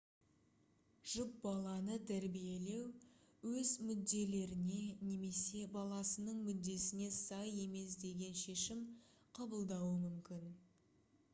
жұп баланы тәрбиелеу өз мүдделеріне немесе баласының мүддесіне сай емес деген шешім қабылдауы мүмкін